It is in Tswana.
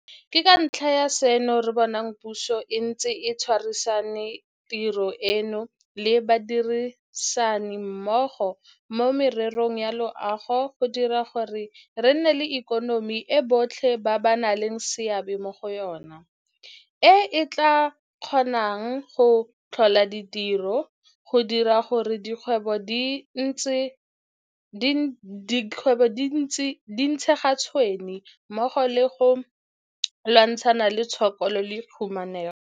Ke ka ntlha ya seno re bonang puso e ntse e tshwarisane tiro eno le badirisanimmogo mo mererong ya loago go dira gore re nne le ikonomi e botlhe ba nang le seabe mo go yona, e e tla kgonang go tlhola ditiro, go dira gore dikgwebo di ntshe ga tshwene mmogo le go lwantshana le tshokolo le khumanego.